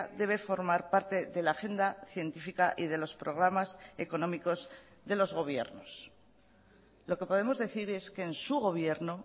debe formar parte de la agenda científica y de los programas económicos de los gobiernos lo que podemos decir es que en su gobierno